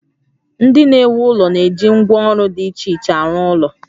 Ndị na-ewu ụlọ na-eji ngwá ọrụ dị iche iche arụ ụlọ